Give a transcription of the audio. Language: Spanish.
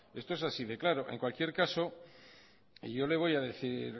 esto es así de claro en cualquier caso yo le voy a decir